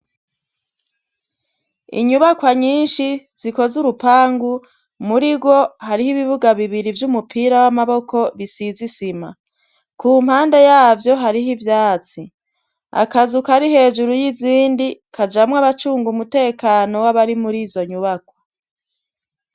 Inyubakwa nyinshi zikoze urupangu muri ro hariho ibibuga bibiri vy'umupira w'amaboko bisizisima ku mpande yavyo hariho ivyatsi akazuka ari hejuru y'izindi kajamwo abacunga umutekano w'abari muri izo nyubakwa.